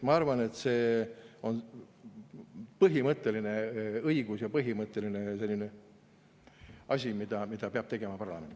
Ma arvan, et see on põhimõtteline õigus ja see on põhimõtteline asi, mida peab tegema parlament.